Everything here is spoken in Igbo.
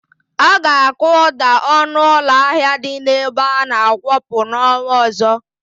Aga akuda ọnụ ụlọ ahịa dị n'ebe ana-akwọpụ n'ọnwa ọzọ.